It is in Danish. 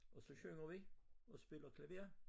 Og så synger vi og spiller klaver